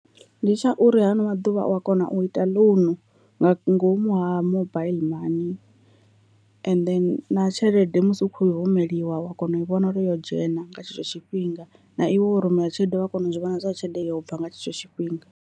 Ndi tsha uri hano maḓuvha a u a kona u ita ḽounu nga ngomu ha mobaiḽi money, and then na tshelede musi u khou i rumeliwa wa kona u vhona uri yo dzhena nga tshetsho tshifhinga na iwe wo rumela tshelede u ya kona u zwi vhona zwori tshelede yo bva nga tshetsho tshifhinga.